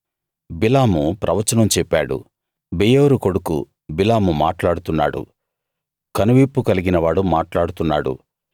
బిలాము ప్రవచనం చెప్పాడు బెయోరు కొడుకు బిలాము మాట్లాడుతున్నాడు కనువిప్పు కలిగినవాడు మాట్లాడుతున్నాడు